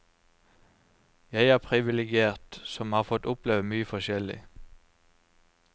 Jeg er privilegert, har fått oppleve mye forskjellig.